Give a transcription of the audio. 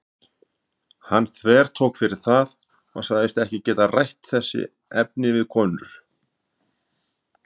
Hann þvertók fyrir það og sagðist ekki geta rætt þessi efni við konur.